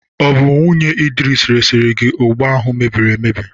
Ọ bụ nwunye Idris resiri gị ụgba ahụ mebiri emebi?